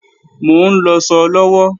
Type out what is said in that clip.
Mò ń lọṣọ lọ́wọ́